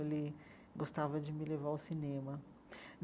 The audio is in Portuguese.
Ele gostava de me levar ao cinema.